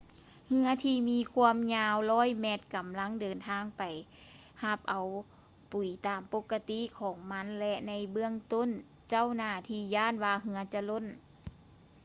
ເຮືອທີ່ມີຄວາມຍາວ 100 ແມັດ ກຳລັງເດີນທາງໄປຮັບເອົາປຸຍຕາມປົກກະຕິຂອງມັນ ແລະ ໃນເບື້ອງຕົ້ນເຈົ້າໜ້າທີ່ຢ້ານວ່າເຮືອຈະລົ້ນ